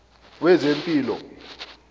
wezempilo